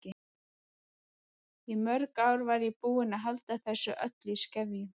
Í mörg ár var ég búin að halda þessu öllu í skefjum.